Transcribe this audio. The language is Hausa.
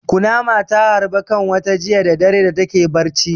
Kunama ta harbe ƙanwata jiya da dare da take barci.